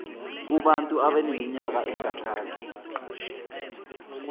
kubantu abaneminyaka engaphansi